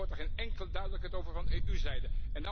Ik hoor hier geen enkele duidelijkheid over van EU zijde.